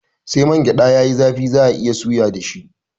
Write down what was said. Sai mangyada yayi zafi za'a iya suya dashi